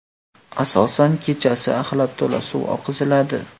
Asosan kechasi axlat to‘la suv oqiziladi.